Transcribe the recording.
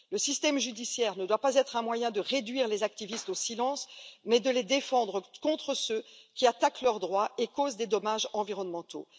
Le système judiciaire ne doit pas être un moyen de réduire les activistes au silence, mais de les défendre contre ceux qui attaquent leurs droits et causent des dommages environnementaux.